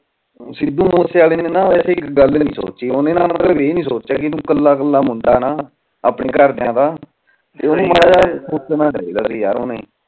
ਸਿੱਧੂ ਮੂਸੇ ਵਾਲੇ ਨੇ ਵੈਸੇ ਇਕ ਗੱਲ ਨੀ ਸੋਚੀ ਓਹਨੇ ਨਾ ਮਤਲਬ ਏ ਨੀ ਸੋਚਿਆ ਵੀ ਤੂੰ ਕਲਾ ਕਲਾ ਮੁੰਡਾ ਨਾ ਅਉਪਣੇ ਘਰਦਿਆਂ ਦਾ ਓਹਨਾ ਮਾਰਾ ਜਾ ਸੋਚਣਾ ਚਾਹੀਦਾ ਸੀ